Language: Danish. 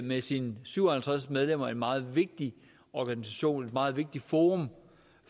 med sine syv og halvtreds medlemmer en meget vigtig organisation et meget vigtigt forum